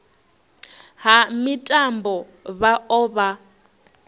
ha mitambo vha o vha